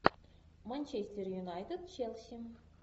манчестер юнайтед челси